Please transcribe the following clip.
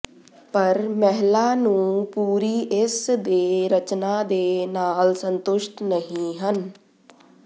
ਪਰ ਮਹਿਲਾ ਨੂੰ ਪੂਰੀ ਇਸ ਦੇ ਰਚਨਾ ਦੇ ਨਾਲ ਸੰਤੁਸ਼ਟ ਨਹੀ ਹਨ